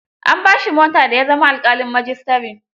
An ba shi mota da ya zama alƙalin majistare.